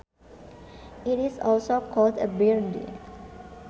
It is also called a birdie